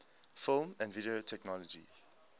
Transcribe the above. film and video technology